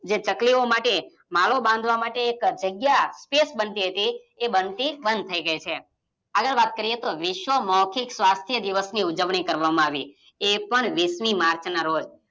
જે ચકલીઓ માટે માળો બાંધવા માટે એક જગ્યા space બનતી હતી એ બનતી બંધ થઇ ગઈ છે. આગળ વાત કર્યે તો વિશ્વ મૌખિક સ્વાસ્થ્ય દિવસની ઉજવણી કરવામાં આવી, એ પણ વિસની માર્ચના રોજ.